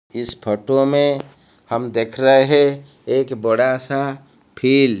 इस फोटो में हम देख रहे हैं एक बड़ा सा फील्ड --